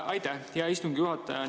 Aitäh, hea istungi juhataja!